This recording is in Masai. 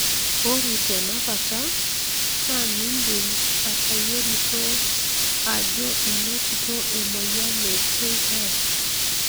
ore tena kata, na mindim atayiolito ajo enotito emoyian e KS.